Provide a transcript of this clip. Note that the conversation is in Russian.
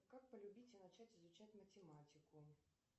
как полюбить и начать изучать математику